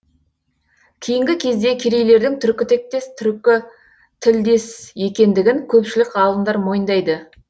кейінгі кезде керейлердің түркітектес түркі тілдес екендігін көпшілік ғалымдар мойындайды